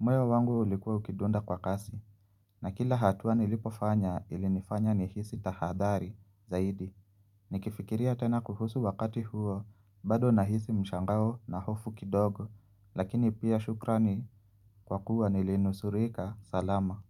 Moyo wangu ulikuwa ukidunda kwa kasi. Na kila hatuwa nilipofanya ilinifanya nihisi tahadhari zaidi. Ni kifikiria tena kuhusu wakati huo bado na hisi mshangao na hofu kidogo Lakini pia shukrani kwa kuwa nilinusurika salama.